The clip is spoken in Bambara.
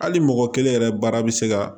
Hali mɔgɔ kelen yɛrɛ baara bɛ se ka